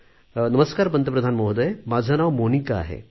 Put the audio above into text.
नमस्कार पंतप्रधान महोदय माझे नाव मोनिका आहे